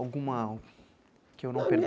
Alguma que eu não per